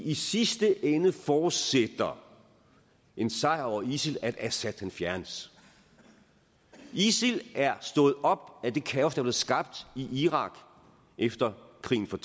i sidste ende forudsætter en sejr over isil at assad fjernes isil er stået op af det kaos der blev skabt i irak efter krigen for